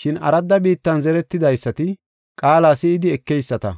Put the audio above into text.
Shin aradda biittan zeretidaysati qaala si7idi ekeyisata.